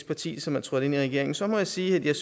parti som er trådt ind i regeringen så må jeg sige at jeg